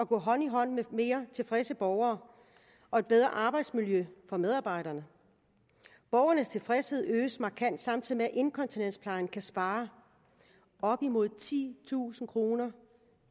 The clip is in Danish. gå hånd i hånd med mere tilfredse borgere og et bedre arbejdsmiljø for medarbejderne borgernes tilfredshed øges markant samtidig med at inkontinensplejen kan spare op imod titusind kroner